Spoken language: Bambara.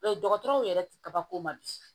dɔgɔtɔrɔw yɛrɛ ti kabako ma di